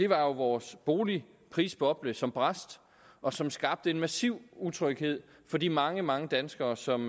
var jo vores boligprisboble som brast og som skabte en massiv utryghed for de mange mange danskere som